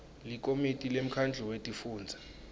likomiti lemkhandlu wetifundza